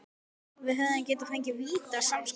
Hefðum við fengið víti á samskonar brot?